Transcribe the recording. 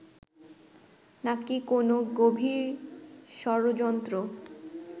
নাকি কোনো গভীর ষড়যন্ত্র